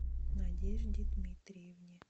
надежде дмитриевне